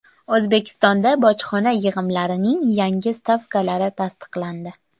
O‘zbekistonda bojxona yig‘imlarining yangi stavkalari tasdiqlandi.